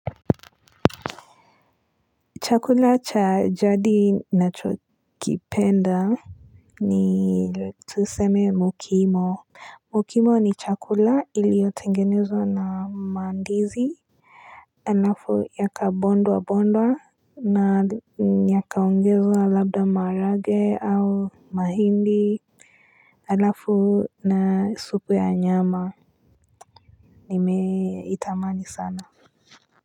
Chakula cha jadi nacho kipenda ni tuseme mukimo. Mukimo ni chakula iliyotengenezwa na mandizi alafu yaka bondwa bondwa na yaka ungezwa labda maharage au mahindi Alafu na supu ya nyama nime itamani sana.